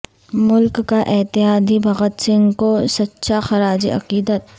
ملک کا اتحاد ہی بھگت سنگھ کو سچاخراج عقیدت